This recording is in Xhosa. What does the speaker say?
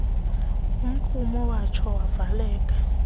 umgqumo owatsho wavaleka